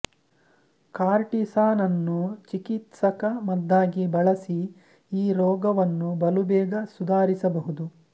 ಕಾರ್ಟಿಸಾನನ್ನು ಚಿಕಿತ್ಸಕ ಮದ್ದಾಗಿ ಬಳಸಿ ಈ ರೋಗವನ್ನು ಬಲುಬೇಗ ಸುಧಾರಿಸಬಹುದು